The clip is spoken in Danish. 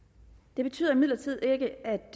det betyder imidlertid ikke at